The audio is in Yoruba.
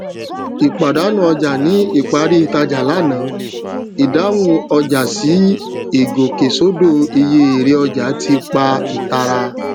ìpàdánù ọjà ní ìparí ìtajà lánàá ìdáhùn ọjà sí ìgòkèsódó iye èrè ọjà ti pá ìtara